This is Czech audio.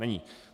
Není.